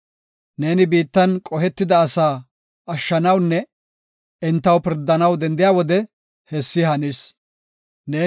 Neeni biittan qohetida asaa ashshanawunne entaw pirdanaw dendiya wode hessi hannis. Salaha